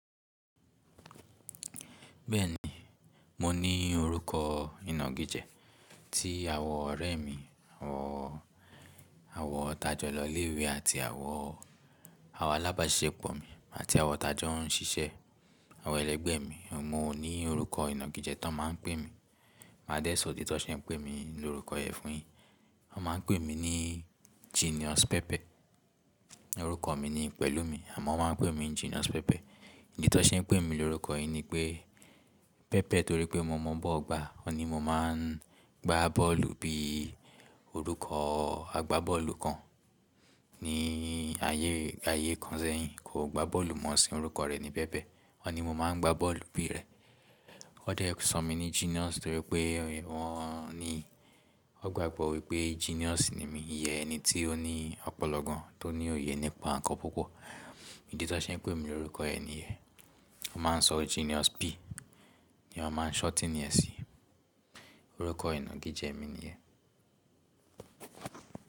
Bẹ́ẹ̀ni, mo ní orúkọ ìnagijẹ́ tí àwọn ọ̀rẹ́ mi, àwọn, àwọn tajọ́ lọ ilé ìwé àti àwọn, àwọn alábàáṣepọ̀ mi àti àwọn tajọ́ ń ṣiṣẹ́, àwọn ẹlẹ́gbẹ́ mi. Mo ní orúkọ ìnagijẹ́ tí wọ́n máa ń pè mi. Màá dẹ́ sọ idì tó ṣe pé wọ́n pè mi ní orúkọ yẹn fún yin. Wọ́n máa ń pè mí ní Genius Pẹpẹ. Orúkọ mi ni Pẹ̀lúmi àmọ́ wọ́n máa ń pè mí Genius Pẹpẹ. Idì tó ṣe n pè mí lórúkọ yìí ni pé pẹpẹ torí pé mo mọ ball gbà. Wọ́n ní mo máa ń gbá bọ́ọ̀lù bí i orúkọ agbábọ́ọ̀lù kan ní ayé, ayé kan sẹ́yìn. Kò gba bọ́ọ̀lù mọ, ṣùgbọ́n orúkọ rẹ̀ ni Pẹpẹ. Wọ́n ní mo máa ń gbá bọ́ọ̀lù bí i rẹ̀. Wọ́n dẹ́ sọ mí ní Genius torí pé wọ́n ní wọ́n gbàgbọ́ wípé genius ni mí. Iye ẹni tí ó ní ọpọlọ gan, tó ní òye nípa nǹkan púpọ̀. Idì tó ṣe n pè mí lórúkọ yẹn nìyẹn. Wọ́n máa ń sọ Genius P ni wọ́n máa ń shorten ẹ sí i. Orúkọ ìnagijẹ́ mi nìyẹn.